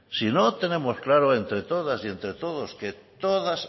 si no tenemos claro entre todas y entre todos que todas